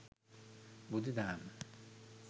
බුදු දහම